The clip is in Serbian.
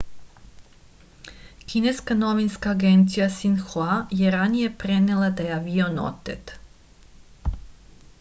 kineska novinska agencija sinhua je ranije prenela da je avion otet